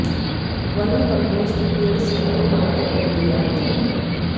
vermi compost डेढ़ से दो माह के अंदर तैयार हो जाता है